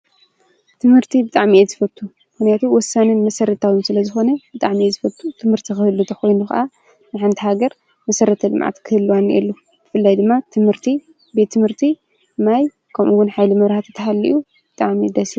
ትምህርቲ ብጣዕሚ እየ ዝፈቱ፣ ምክንያቱ ወሳንን መሰረታውን ስለዝኮነ ብጣዕሚ እየ ዝፈቱ:: ትምህርቲ ክህሉ ተኮይኑ ከዓ ንሓንቲ ሃገር መሰረተ ልምዓት ክህልዋ ኣለዎ፡፡ ብፍላይ ድማ ትምህርቲ፣ ቤት ትምህርቲ፣ ማይ ከምኡውን ሓይሊ መብሯህቲ ተሃልዩ ብጣዕሚ እዩ ደስ ዝብል፡፡